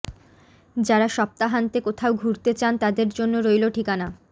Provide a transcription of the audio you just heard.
যারা সপ্তাহান্তে কোথাও ঘুরতে চান তাদের জন্য রইল ঠিকানা